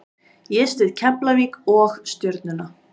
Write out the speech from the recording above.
Ég styð Keflavík og Stjörnuna.